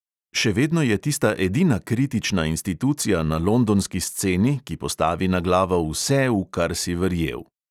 Še vedno je tista edina kritična institucija na londonski sceni, ki postavi na glavo vse, v kar si verjel.